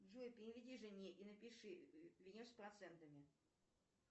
джой переведи жене и напиши вернешь с процентами